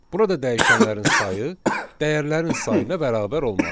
Burada dəyişənlərin sayı dəyərlərin sayına bərabər olmalıdır.